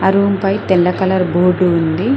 Room పై తెల్ల colour board ఉంది.